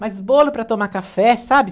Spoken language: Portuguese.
Mas bolo para tomar café, sabe?